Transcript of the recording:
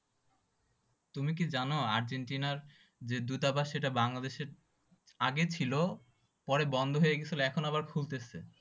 তুমি কি জানো? আর্জেন্টিনার যে দূতাবাস সেইটা বাংলাদেশের আগে ছিল পরে বন্ধ হয় গেছিল, এখন আবার খুলতেছে।